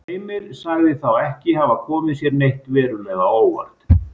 Heimir sagði þá ekki hafa komið sér neitt verulega á óvart.